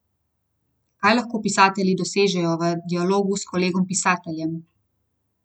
Kaj lahko pisatelji dosežejo v dialogu s kolegom pisateljem?